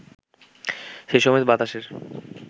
সেসময় বাতাসের